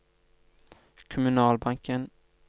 kommunalbanken